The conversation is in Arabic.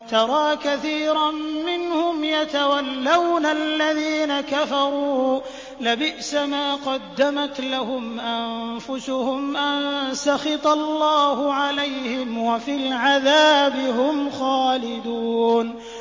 تَرَىٰ كَثِيرًا مِّنْهُمْ يَتَوَلَّوْنَ الَّذِينَ كَفَرُوا ۚ لَبِئْسَ مَا قَدَّمَتْ لَهُمْ أَنفُسُهُمْ أَن سَخِطَ اللَّهُ عَلَيْهِمْ وَفِي الْعَذَابِ هُمْ خَالِدُونَ